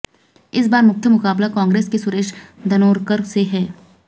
इस बार मुख्य मुकाबला कांग्रेस के सुरेश धानोरकर से है